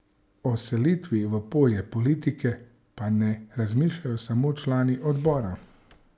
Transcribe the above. O selitvi v polje politike pa ne razmišljajo samo člani Odbora.